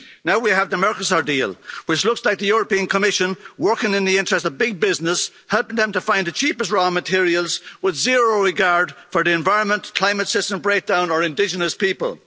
Now we have the Mercosur deal, which looks like the European Commission, working in the interests of big business, helping them to find the cheapest raw materials with zero regard for the environment, climate system breakdown or indigenous people.